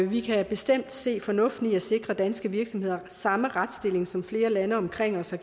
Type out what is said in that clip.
vi kan bestemt se fornuften i at sikre danske virksomheder samme retsstilling som flere lande omkring os